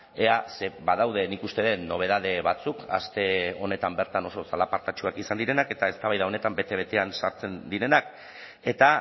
ea ze badaude nik uste dut nobedade batzuk aste honetan bertan oso zalapartatsuak izan direnak eta eztabaida honetan bete betean sartzen direnak eta